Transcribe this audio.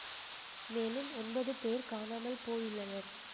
மேலும் ஒன்பது பேர் காணாமல் போயுள்ளனர்